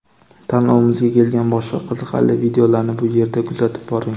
Tanlovimizga kelgan boshqa qiziqarli videolarni bu yerda kuzatib boring .